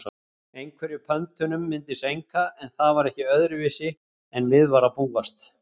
Einhverjum pöntunum myndi seinka en það var ekki öðruvísi en við var að búast.